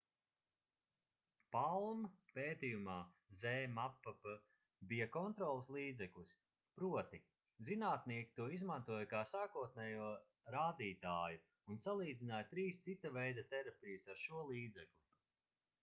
palm pētījumā zmapp bija kontroles līdzeklis proti zinātnieki to izmantoja kā sākotnējo rādītāju un salīdzināja trīs cita veida terapijas ar šo līdzekli